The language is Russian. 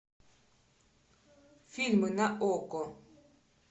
фильмы на окко